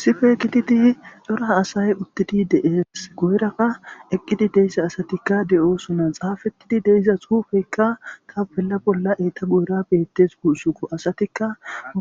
sife ekitidi dora asay uttidi dees guuraka eqqidi deyssa asatikka de7oosona xaafetidi deiza suufeykka kapella bolla eeta guura beettes guusuko asatikka